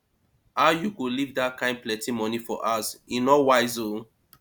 how you go leave dat kin plenty money for house e no wise ooo